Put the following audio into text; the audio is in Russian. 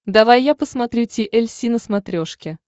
давай я посмотрю ти эль си на смотрешке